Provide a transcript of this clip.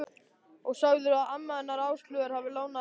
Og sagðirðu að amma hennar Áslaugar hafi lánað þér hattinn?